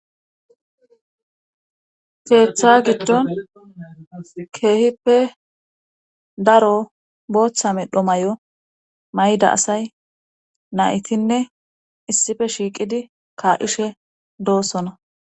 keeththa gidon keehippe daro booththa medho mayo mayida asay naytinne issi shiiqidi ka'ishe doosona.